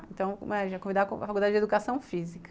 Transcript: Então, a gente ia convidar a Faculdade de Educação Física.